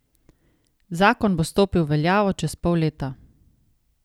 Zakon bo stopil v veljavo čez pol leta.